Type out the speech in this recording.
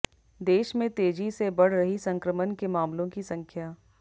देश में तेजी से बढ़ रही संक्रमण के मामलों की संख्या